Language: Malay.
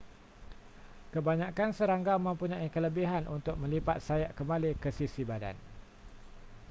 kebanyakan serangga mempunyai kelebihan untuk melipat sayap kembali ke sisi badan